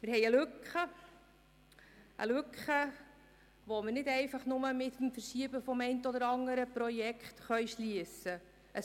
Wir haben eine Lücke, die wir nicht einfach mit dem Verschieben des einen oder anderen Projekts schliessen können.